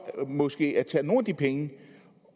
måske at tage nogle af de penge